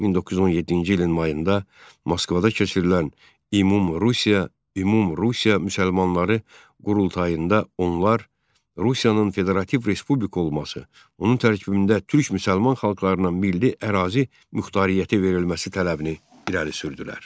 1917-ci ilin mayında Moskvada keçirilən ümum-Rusiya, ümum-Rusiya müsəlmanları qurultayında onlar Rusiyanın federativ respublika olması, onun tərkibində türk müsəlman xalqlarına milli ərazi muxtariyyəti verilməsi tələbini irəli sürdülər.